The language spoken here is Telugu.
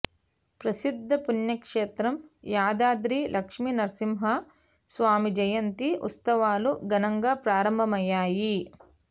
ప్రసిద్ధ పుణ్యక్షేత్రం యాదాద్రి లక్ష్మీ నరసింహ స్వామి జయంతి ఉత్సవాలు ఘనంగా ప్రారంభమయ్యాయి